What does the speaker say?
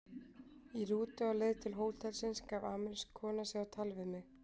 Í rútu á leið til hótelsins gaf amerísk kona sig á tal við mig.